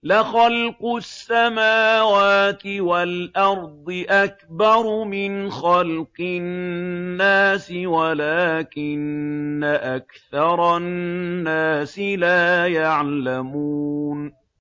لَخَلْقُ السَّمَاوَاتِ وَالْأَرْضِ أَكْبَرُ مِنْ خَلْقِ النَّاسِ وَلَٰكِنَّ أَكْثَرَ النَّاسِ لَا يَعْلَمُونَ